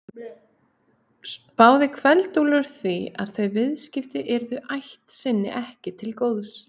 Spáði Kveld-Úlfur því að þau viðskipti yrðu ætt sinni ekki til góðs.